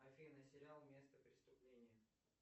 афина сериал место преступления